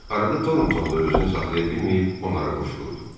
Arada Thornton da özünü saxlaya bilməyib onlara qoşulurdu.